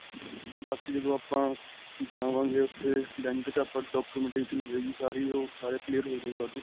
ਉਹ ਬਾਕੀ ਜਦੋ ਆਪਾਂ ਜਾਵਾਂਗੇ ਉੱਥੇ bank ਵਿੱਚ ਆਪਾਂ documentation ਹੋਏਗੀ ਸਾਰੀ ਓਹ ਸਾਰੇ clear ਹੋਜੇਗਾ ਓਦੋ.